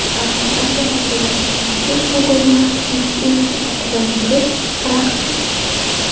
Avstraliyada velosipedchi Google Maps mashinasi ortidan yurib, raqsga tushdi.